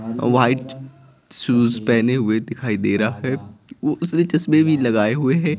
White shoes पहने हुए दिखाई दे रहा है उसने चश्मे भी लगाए हुए हैं।